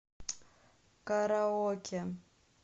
караоке